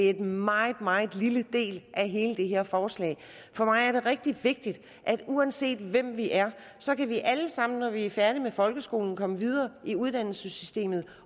er en meget meget lille del af hele det her forslag for mig er det rigtig vigtigt at uanset hvem vi er så kan vi alle sammen når vi er færdige med folkeskolen komme videre i uddannelsessystemet